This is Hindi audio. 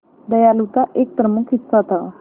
दयालुता एक प्रमुख हिस्सा था